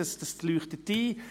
Das leuchtet ein.